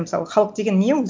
мысалы халық деген не ол